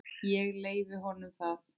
Ég leyfi honum það.